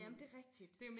Jamen det rigtigt